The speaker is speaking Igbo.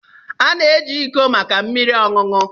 A na-eji iko maka mmiri ọṅụṅụ.